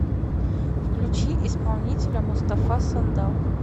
включи исполнителя мустафа сандал